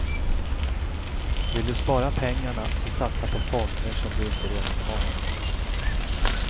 Vill du spara pengarna så satsa på fonder som du inte redan har.